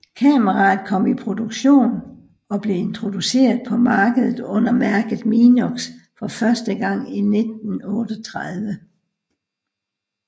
Kameraet kom i produktion og blev introduceret på markedet under mærket Minox for første gang i 1938